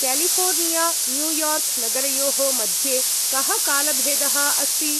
California, New York नगरयोः मध्ये कः कालभेदः अस्ति?